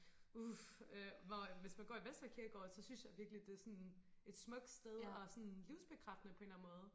uh hvor hvis man går i Vestre kirkegård så synes jeg virkelig det er sådan et smukt sted og sådan livsbekræftende på en eller anden måde